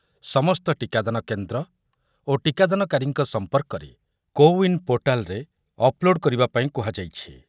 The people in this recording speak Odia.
ସମସ୍ତ ଟିକାଦାନ କେନ୍ଦ୍ର କେନ୍ଦ୍ର ଓ ଟିକାଦାନକାରୀଙ୍କ ସମ୍ପର୍କରେ କୋୱିନ୍‌ ପୋର୍ଟାଲ୍‌ ରେ ଅପଲୋଡ୍ କରିବା ପାଇଁ କୁହାଯାଇଛି